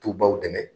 Tubabu dɛmɛ